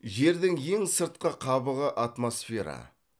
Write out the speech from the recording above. жердің ең сыртқы қабығы атмосфера